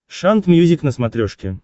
шант мьюзик на смотрешке